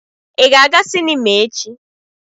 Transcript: Ị ga-aga sinima echi?